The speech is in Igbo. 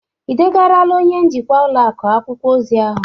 Ị degarala onye njikwa ụlọ akụ akwụkwọ ozi ahụ?